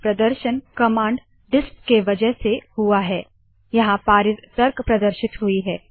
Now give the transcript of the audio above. यह प्रदर्शन कमांड डिस्प के वजह से हुआ है - यहाँ पारित तर्क प्रदर्शित हुई है